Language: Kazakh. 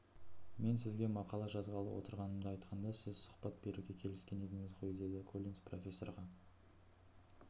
мен сізге мақала жазғалы отырғанымды айтқанда сіз сұхбат беруге келіскен едіңіз ғойдеді коллинс профессорға